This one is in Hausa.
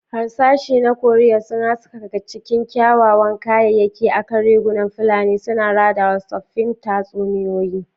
Harsashi na Cowrie sun haskaka cikin kyawawan kayayyaki akan rigunan fulani, suna radawa tsoffin tatsuniyoyi.